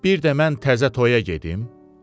Bir də mən təzə toyə gedim?